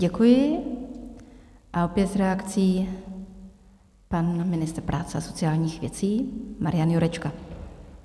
Děkuji a opět s reakcí pan ministr práce a sociálních věcí Marian Jurečka.